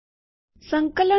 સંકલન કરો